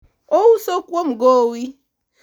ouso kuom gowi